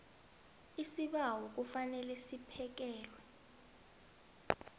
isibawo kufanele siphekelwe